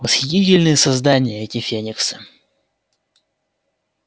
восхитительные создания эти фениксы